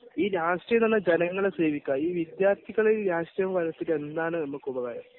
രാഷ്ട്രീയം എന്നത് ജനങ്ങളെ സേവിക്കാനാണ് ഈ വിദ്യാർത്ഥികളിൽ രാഷ്ട്രീയം വളർത്തിയിട്ട് എന്താണ് നമുക്ക് ഉപകാരം